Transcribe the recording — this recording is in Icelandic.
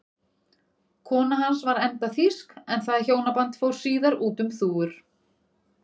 Kona hans var enda þýsk en það hjónaband fór síðar út um þúfur.